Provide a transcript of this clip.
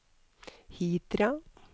Hitra